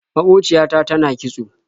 Maƙociya ta tana kitso.